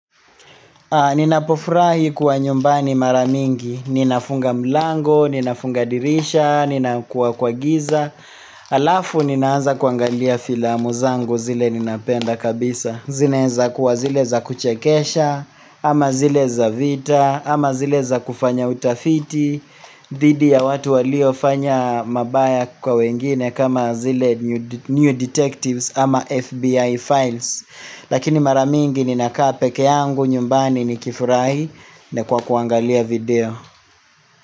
Ninapofurahi kuwa nyumbani mara mingi, ninafunga mlango, ninafunga dirisha, nina kuwa kwa giza Alafu ninaanza kuangalia filamu zangu zile ninapenda kabisa. Zinaweza kuwa zile za kuchekesha, ama zile za vita, ama zile za kufanya utafiti dhidi ya watu waliofanya mabaya kwa wengine kama zile new new detectives ama FBI files Lakini mara mingi ninakaa peke yangu nyumbani nikifurahi na kwa kuangalia video.